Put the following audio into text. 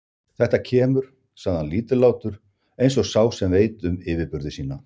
Þetta kemur, sagði hann lítillátur, eins og sá sem veit um yfirburði sína.